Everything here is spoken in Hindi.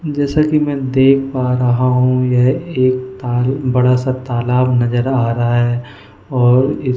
जैसा कि मैं देख पा रहा हूं यह एक ताल बड़ा सा तालाब नजर आ रहा है और।